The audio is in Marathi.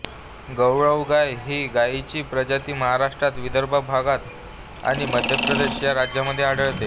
गवळाऊ गाय ही गायीची प्रजाती महाराष्ट्रातील विदर्भ भाग आणि मध्यप्रदेश या राज्यांमध्ये आढळते